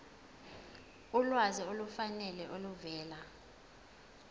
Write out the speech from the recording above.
ulwazi olufanele oluvela